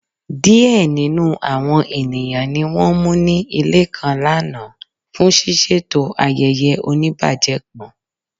Diẹ̀ nínu àwọn ènìyàn ní wọ́n mú ní ilẹ̀ kan lána fún sisẹ̀tọ̀ ayéyé ọ̀níbàjẹ̀ kan.